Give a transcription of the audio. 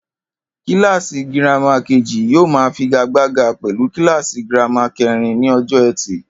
Kíláàsì girama kejì yóò máa figagbága pè̩lú kíláàsì girama ké̩rin ní o̩jò̩ E̩tì